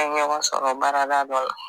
An ɲɔgɔn sɔrɔ baarada dɔ la